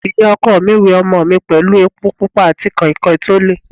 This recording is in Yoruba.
Ìyá ọkọ mi we ọmọ mi pẹ̀lú epo pupa àti kọ̀ìnkọ̀ìn tó le.